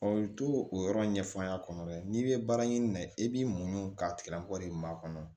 i to o yɔrɔ ɲɛf'an kɔnɔ dɛ n'i bɛ baara ɲini na i b'i muɲu ka tigɛlako de maa kɔnɔ